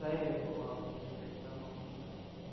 дарья была лучшая экономика